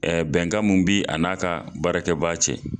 bɛnkan mun bi a n'a ka baarakɛ baa cɛ.